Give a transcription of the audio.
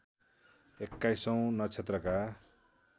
एक्काईसौँ नक्षत्रका